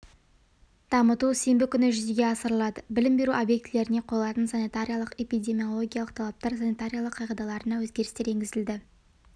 дамыту сенбі күні жүзеге асырылады білім беру объектілеріне қойылатын санитариялық-эпидемиологиялық талаптар санитариялық қағидаларына өзгерістер енгізілді